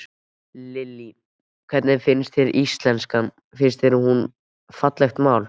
Lillý: Hvernig finnst þér íslenskan, finnst þér hún fallegt mál?